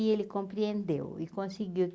E ele compreendeu e conseguiu.